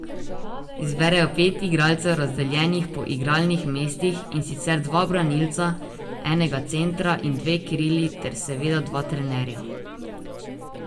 Izberejo pet igralcev razdeljenih po igralnih mestih, in sicer dva branilca, enega centra in dve krili ter seveda dva trenerja.